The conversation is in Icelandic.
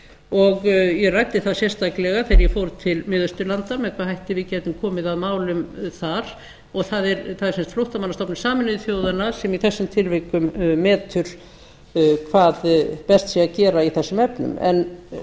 og ég ræddi það sérstaklega þegar ég fór til miðausturlanda með hvaða hætti við gætum komið að málum þar og það er sem sagt flóttamannastofnun sameinuðu þjóðanna sem í þessum tilvikum metur hvað best sé að gera í þessum efnum en